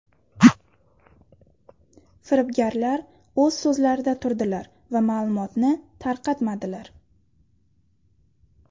Firibgarlar o‘z so‘zlarida turdilar va ma’lumotni tarqatmadilar.